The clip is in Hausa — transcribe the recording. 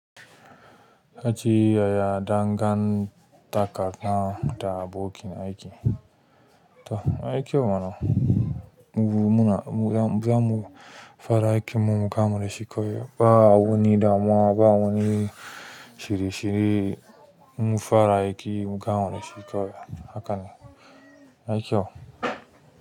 Kace yaya dangantakana da bokin aiki? To aiki mana, mu muna mu zamu fara aikinmu mu gama dashi kawai ba wani damuwa ba wani shirye-shirye. Mu fara aiki mu gama dashi kawai hakane, yayi kyau.